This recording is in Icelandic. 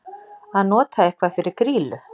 Að nota eitthvað fyrir grýlu